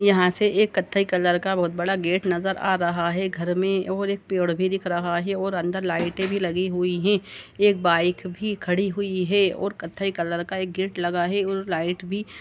यहाँ से एक कत्थे कलर का बोहोत बड़ा गेट नज़र आ रहा हैं घर में और एक पेड़ भी दिख रहा है और अंदर लाइटे भी लगी हुई है। एक बाइक भी खड़ी हुई है और कत्थे कलर का एक गेट लगा है और लाइट भी --